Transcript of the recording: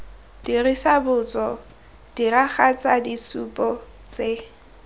dirisa botso diragatsa ditshupo tse